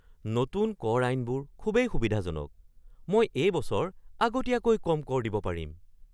নতুন কৰ আইনবোৰ খুবেই সুবিধাজনক! মই এই বছৰ আগতকৈ কম কৰ দিব পাৰিম!